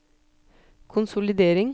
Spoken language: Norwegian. konsolidering